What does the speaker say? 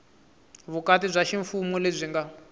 vukati bya ximfumo lebyi nga